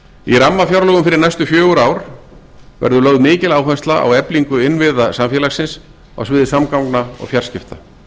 í rammafjárlögum fyrir næstu fjögur ár verður lögð mikil áhersla á eflingu innviða samfélagsins á sviði samgangna og fjarskipta